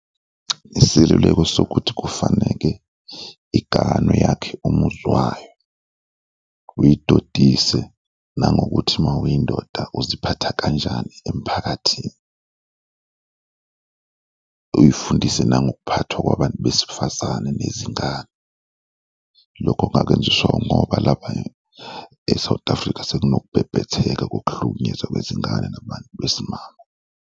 Iseluleko sokuthi kufaneke iganwe yakhe umuziwayo, uyidodise nangokuthi mawuyindoda uziphatha kanjani emphakathini. Uyifundise nangokuphathwa kwabantu besifazane nezingane, lokho ngakenziswa ngoba lapha e-South Africa sekunokubhebhetheka kokuhlukunyezwa kwezingane nabantu besimame.